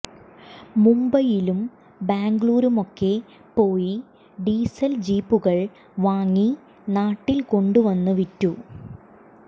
മുംബൈയിലും ബാംഗ്ലൂരുമൊക്കെ പോയി ഡീസൽ ജീപ്പുകൾ വാങ്ങി നാട്ടിൽ കൊണ്ടുവന്നു വിറ്റു